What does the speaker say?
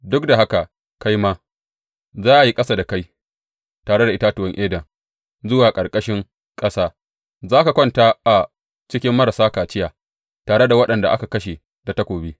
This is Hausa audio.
Duk da haka kai ma, za a yi ƙasa da kai tare da itatuwan Eden zuwa ƙarƙashin ƙasa; za ka kwanta a cikin marasa kaciya, tare da waɗanda aka kashe da takobi.